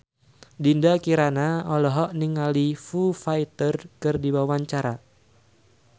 Dinda Kirana olohok ningali Foo Fighter keur diwawancara